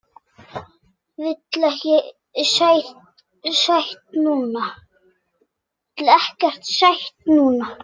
Vil ekkert sætt núna.